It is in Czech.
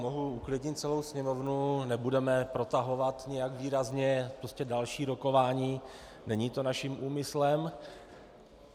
Mohu uklidnit celou sněmovnu, nebudeme protahovat nijak výrazně další rokování, není to naším úmyslem.